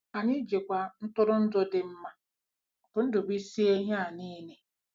Anyị jikwa ntụrụndụ dị mma bNdubuisice ihe a niile.